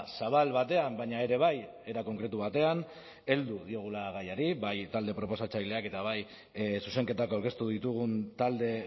zabal batean baina ere bai era konkretu batean heldu diogula gaiari bai talde proposatzaileak eta bai zuzenketak aurkeztu ditugun talde